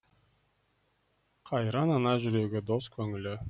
қайран ана жүрегі дос көңілі